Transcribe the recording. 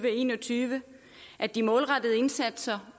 en og tyve at de målrettede indsatser